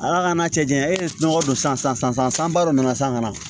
Ala ka n'a cɛ janya e ye nɔgɔ don san ba dɔ na san kana na